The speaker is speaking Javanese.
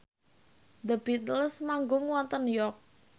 The Beatles manggung wonten York